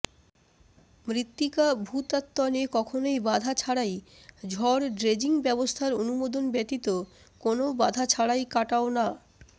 মৃত্তিকা ভূতাত্ত্বণে কখনোই বাধা ছাড়াই ঝড় ড্রেজিং ব্যবস্থার অনুমোদন ব্যতীত কোনও বাধা ছাড়াই কাটাও না